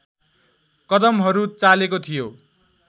कदमहरू चालेको थियो